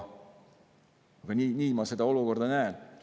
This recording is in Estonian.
Aga nii ma seda olukorda näen.